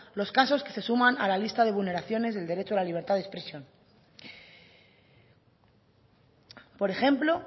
los casos que se suman a la lista de vulneraciones del derecho a la libertad de expresión por ejemplo